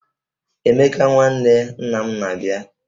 Emeka nwanne nna m na-abịa